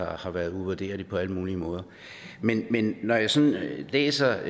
har været uvurderlig på alle mulige måder men når jeg sådan læser